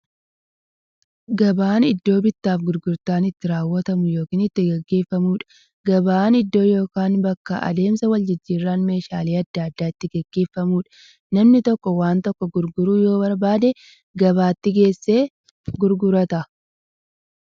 Gabaan iddoo bittaaf gurgurtaan itti raawwatu yookiin itti gaggeeffamuudha. Gabaan iddoo yookiin bakka adeemsa waljijjiiraan meeshaalee adda addaa itti gaggeeffamuudha. Namni tokko waan tokko gurguruu yoo barbaade, gabaatti geessee gurgurata.